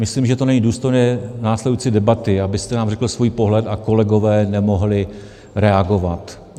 Myslím, že to není důstojné následující debaty, abyste nám řekl svůj pohled a kolegové nemohli reagovat.